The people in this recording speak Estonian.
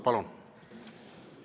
Palun!